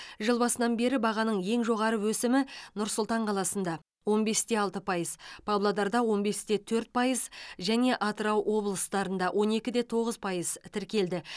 жыл басынан бері бағаның ең жоғары өсімі нұр сұлтан қаласында он бес те алты пайыз павлодарда он бес те төрт пайыз және атырау облыстарында он екі де тоғыз пайыз тіркелді